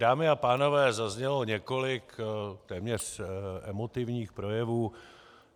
Dámy a pánové, zaznělo několik téměř emotivních projevů.